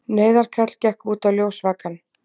Neyðarkall gekk út á ljósvakann.